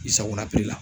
I sagona pikiri la